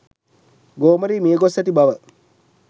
ගෝමරී මිය ගොස් ඇති බව